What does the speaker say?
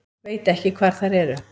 Veit ekki hvar þær eru